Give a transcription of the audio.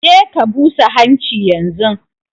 Je ka busa hanchi yanzun!